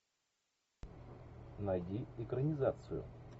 найди экранизацию